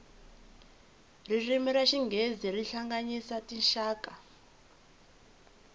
ririmi ra xinghezi ri hlanganyisa tinxaka